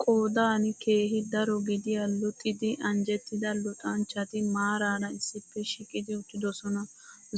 Qoodan keehi daro gidiya luxidi anjjettida luxanchchati maaraara issippe shiiqidi uttidosona.